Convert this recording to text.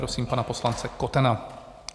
Prosím pana poslance Kotena.